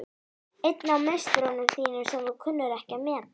Einn af meisturum þínum sem þú kunnir ekki að meta.